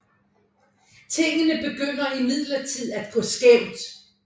Tingene begynder imidlertid at gå skævt